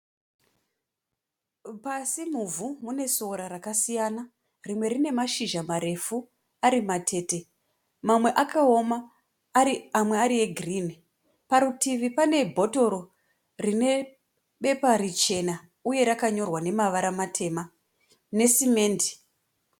Pasi muvhu mune sora rakasiyana. Rimwe rine mashizha marefu ari matete, mamwe akaoma ari amwe ari egirini. Parutivi pane bhotoro rine bhepa richena uye rakanyorwa nemavara matema nesimendi.